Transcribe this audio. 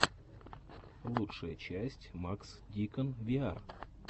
лучшая часть макс дикон виар